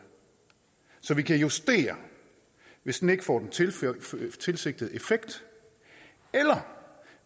så vi kan justere hvis den ikke får den tilsigtede tilsigtede effekt eller